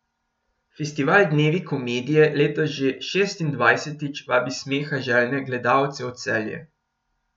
Festival Dnevi komedije letos že šestindvajsetič vabi smeha željne gledalce v Celje.